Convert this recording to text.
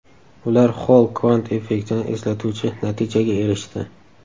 Ular Xoll kvant effektini eslatuvchi natijaga erishdi.